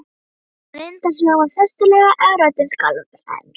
Hann reyndi að hljóma festulega en röddin skalf enn.